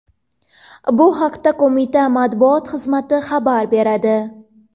Bu haqda qo‘mita matbuot xizmati xabar beradi.